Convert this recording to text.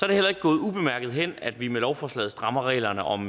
det heller ikke gået ubemærket hen at vi med lovforslaget strammer reglerne om